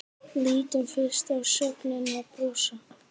Lítum fyrst á sögnina brosa: